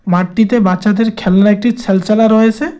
মাঠটিতে বাচ্চাদের খেলনা একটি ছালচালা রয়েছে।